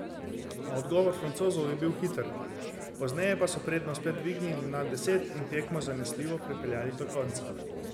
A odgovor Francozov je bil hiter, pozneje pa so prednost spet dvignili nad deset in tekmo zanesljivo pripeljali do konca.